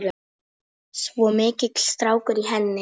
Svo mikill strákur í henni.